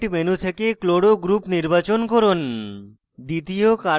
model kit menu থেকে chloro cl group নির্বাচন করুন